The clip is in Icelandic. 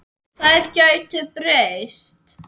Þær gætu breyst.